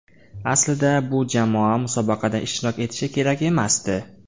Aslida bu jamoa musobaqada ishtirok etishi kerak emasdi.